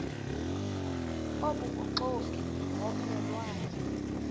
obubuxoki ngomme lwane